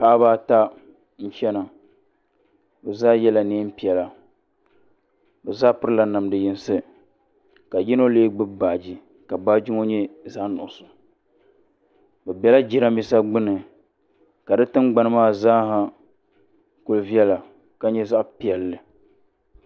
Paɣiba ata n-chana bɛ zaa yela neem'piɛla bɛ zaa pirila namda yinsi ka yino lee gbubi baaji ka baaji nyɛ zaɣ'nuɣuso bɛ bela jirambiisa gbuni ka di tingbani maa zaaha kuli viɛla ka nyɛ zaɣ'piɛlli.